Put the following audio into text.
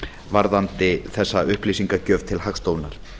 varðandi þessa upplýsingagjöf til hagstofunnar